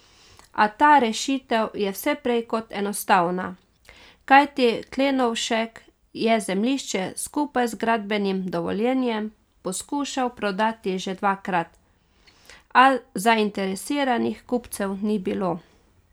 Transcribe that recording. A ta rešitev je vse prej kot enostavna, kajti Klenovšek je zemljišče skupaj z gradbenim dovoljenjem poskušal prodati že dvakrat, a zainteresiranih kupcev ni bilo.